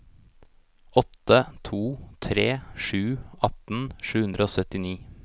åtte to tre sju atten sju hundre og syttini